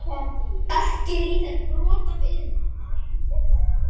Ekki er í þér brot af iðnaðarmanni.